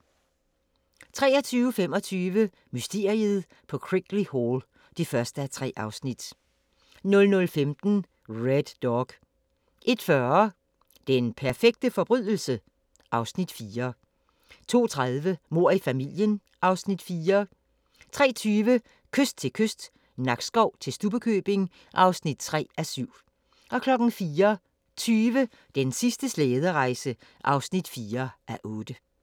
23:25: Mysteriet på Crickley Hall (1:3) 00:15: Red Dog 01:40: Den perfekte forbrydelse? (Afs. 4) 02:30: Mord i familien (Afs. 4) 03:20: Kyst til kyst – Nakskov til Stubbekøbing (3:7) 04:20: Den sidste slæderejse (4:8)